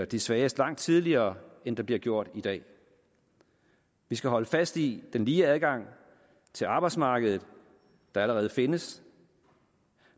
de svageste langt tidligere end det bliver gjort i dag vi skal holde fast i den lige adgang til arbejdsmarkedet der allerede findes